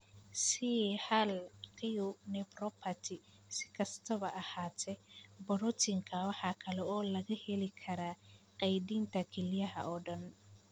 C hal q nephropathy, si kastaba ha ahaatee, borotiinkan waxa kale oo laga heli karaa kaydinta kelyaha oo dhan.